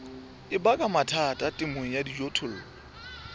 baka mathata temong ya dijothollo